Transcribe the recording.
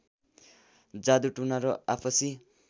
जादु टुना र आपसी